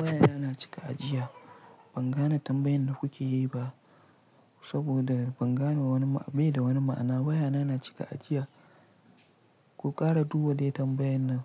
Wayana na cika ajiya. Ban gane tambayan da kuke yi ba saboda ban gane wani, bai da wani ma'ana. Wayana na cika ajiya. Ku ƙara duba dai tambayan nan.